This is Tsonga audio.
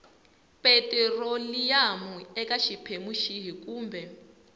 petiroliyamu eka xiphemu xihi kumbe